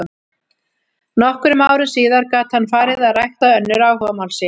Nokkrum árum síðar gat hann farið að rækta önnur áhugamál sín.